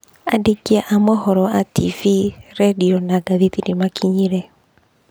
Aandĩki a mohoro a tibii, rĩndio, na ngathĩti nĩ makinyire.